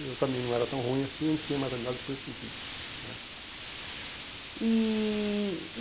Eu também não era tão ruim assim e a gente tinha mais amizade por esse sentido né. E